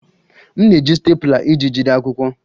M na-eji stapler iji jide akwụkwọ